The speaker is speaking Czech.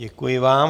Děkuji vám.